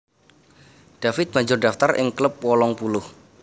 David banjur ndaftar ing klub wolung puluh